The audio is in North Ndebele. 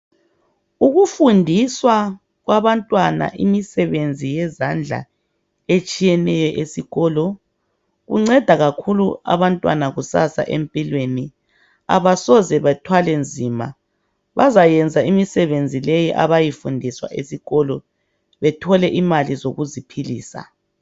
uufundiswa kwabantwana imisebenzi yezandla etshiyeneyo esikolo kunceda kakhulu abantwana kusasa empilweni abasoze bathwale nzima bayayenza imisebenzi leyi abayifundiswayo esikolo bethole imali zokuziphilisa